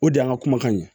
O de y'an ka kumakan ye